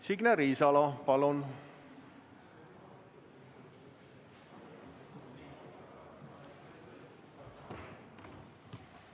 Signe Riisalo, palun!